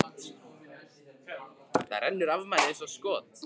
Það rennur af manni eins og skot.